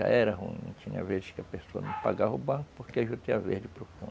Já era ruim, tinha vezes que a pessoa não pagava o banco porque a juta ia verde para o fundo.